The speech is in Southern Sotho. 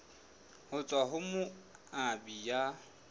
ho tswa ho moabi ya